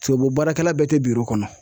Tubabu baarakɛla bɛɛ te biro kɔnɔ.